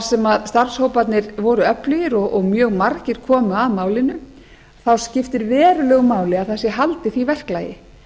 sem starfshóparnir voru öflugir og mjög margir komu að málinu þá skiptir verulegu máli að það sé haldið því verklagi